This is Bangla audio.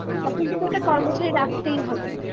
তখন তোকে একটা কর্মচারী রাখতেই হবে